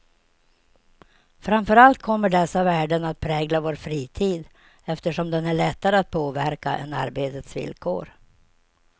Framför allt kommer dessa värden att prägla vår fritid, eftersom den är lättare att påverka än arbetets villkor.